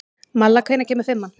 Malla, hvenær kemur fimman?